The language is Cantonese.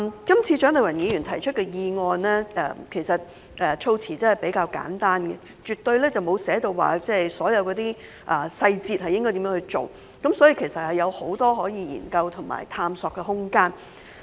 這次蔣麗芸議員提出的議案的措辭較為簡單，沒有指明應如何執行有關細節，所以有很多研究和探索的空間。